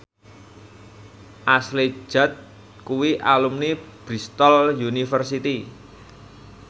Ashley Judd kuwi alumni Bristol university